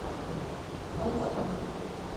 толстых